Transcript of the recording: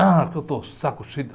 Ah, que eu estou saco cheio.